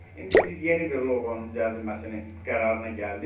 İndi biz yeni bir loqonun düzəldilməsini qərarına gəldik.